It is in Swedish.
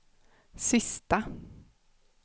sista